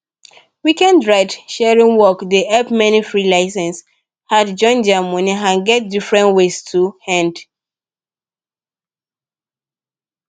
weekend ride sharing work dey help many license freelancer add join their money and get different ways to end